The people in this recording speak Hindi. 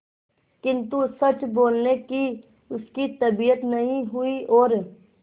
किंतु सच बोलने की उसकी तबीयत नहीं हुई और